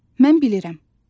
Mən bilirəm.